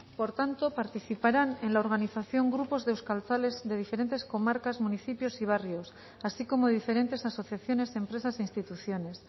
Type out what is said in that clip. por tanto participarán en la organización grupos de euskaltzales de diferentes comarcas municipios y barrios así como diferentes asociaciones empresas e instituciones